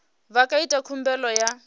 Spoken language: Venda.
vha nga ita khumbelo ya